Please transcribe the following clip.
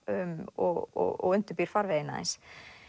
og undirbýr farveginn aðeins